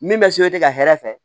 Min bɛ ka hɛrɛ fɛ